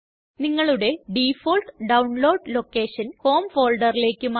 നിങ്ങളുടെ default download location home Folderലേയ്ക്ക് മാറ്റുക